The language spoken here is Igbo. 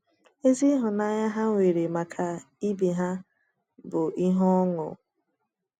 Ezi ịhụnanya ha nwere maka ibe ha bụ ihe ọṅụ.